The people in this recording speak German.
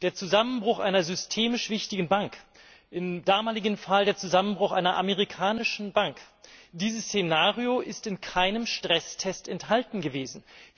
Der Zusammenbruch einer systemisch wichtigen Bank, im damaligen Fall der Zusammenbruch einer amerikanischen Bank, dieses Szenario ist in keinem Stresstest enthalten gewesen.